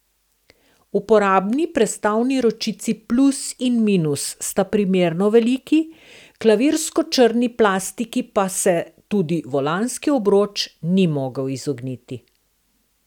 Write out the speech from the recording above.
Uporabni prestavni ročici plus in minus sta primerno veliki, klavirsko črni plastiki pa se tudi volanski obroč ni mogel izogniti.